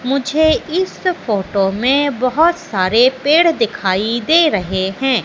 मुझे इस फोटो में बहोत सारे पेड़ दिखाई दे रहे है।